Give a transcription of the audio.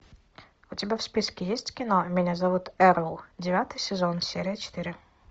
у тебя в списке есть кино меня зовут эрл девятый сезон серия четыре